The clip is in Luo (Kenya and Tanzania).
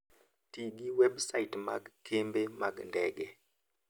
Ti gi websait mag kembe mag ndege.